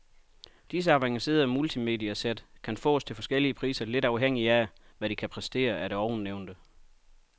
Disse avancerede multimediasæt kan fås til forskellige priser lidt afhængig af, hvad de kan præstere af det ovennævnte.